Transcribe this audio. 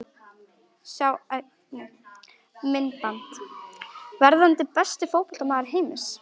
Sjá einnig: Myndband: Verðandi besti fótboltamaður heims?